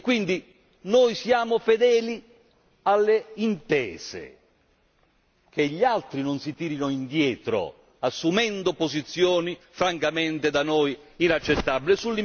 E quindi noi siamo fedeli alle intese che gli altri non si tirino indietro, assumendo posizioni francamente da noi inaccettabili.